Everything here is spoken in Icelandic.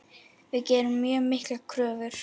Við gerum mjög miklar kröfur.